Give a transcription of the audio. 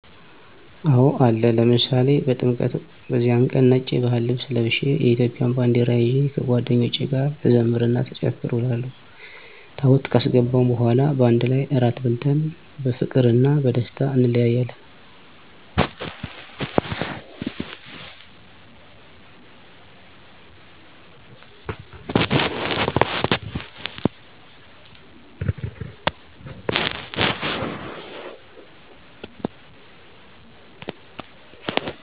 አወ አለ፤ ለምሳሌ በጥምቀት፦ በዚያን ቀን ነጭ የባህል ልብስ ለብሸ የኢትዮጵያን ባንደራ ይዠ ከጓደኞቸ ጋር ስዘምር እና ስጨፍር እውላለሁ፤ ታቦት ካስገባን በኋላ ባንድ ላይ እራት በልተን በፍቅርና ቀደስታ እንለያያለን።